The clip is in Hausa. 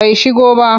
Bai shigo ba.